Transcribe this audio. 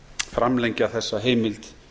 framlengja þessa heimild